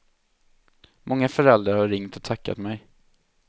Många föräldrar har ringt och tackat mig.